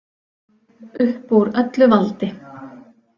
Upp úr öllu valdi